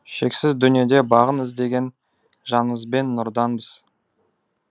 шексіз дүниеде бағын іздеген жанызбен нұрданбыз